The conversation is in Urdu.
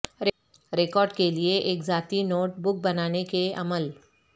ریکارڈ کے لئے ایک ذاتی نوٹ بک بنانے کے عمل